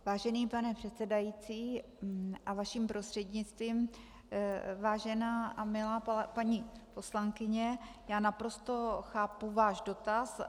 Vážený pane předsedající a vaším prostřednictvím vážená a milá paní poslankyně, já naprosto chápu váš dotaz.